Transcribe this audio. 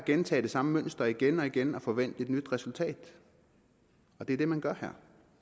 gentager det samme mønster igen og igen og forventer at få nyt resultat det er det man gør her